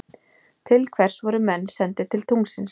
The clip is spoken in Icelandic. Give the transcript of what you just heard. Til hvers voru menn sendir til tunglsins?